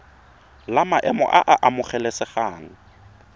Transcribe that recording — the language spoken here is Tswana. la maemo a a amogelesegang